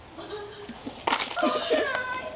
Ég fann til djúps þakklætis og auðmýktar, gleði og léttis.